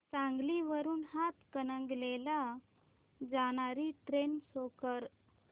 सांगली वरून हातकणंगले ला जाणारी ट्रेन शो कर